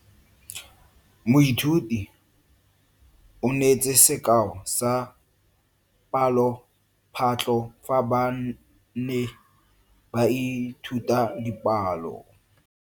Moithuti o neetse sekao sa palophatlo fa ba ne ba ithuta dipalo.